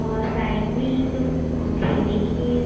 और साईड में एक खेलने की --